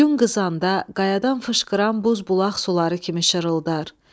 Gün qızanda qayadan fışqıran buz bulaq suları kimi şırıldar.